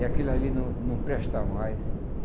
E aquilo ali não não presta mais.